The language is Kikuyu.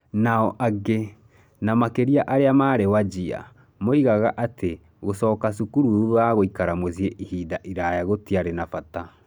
Nao angĩ, na makĩria arĩa maarĩ Wajir, moigaga atĩ gũcoka cukuru thutha wa gũikara mũciĩ ihinda iraya gũtiarĩ na bata.